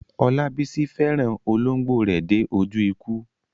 Olabisi fẹ́ràn olóńgbò rẹ̀ dé ojú ikú.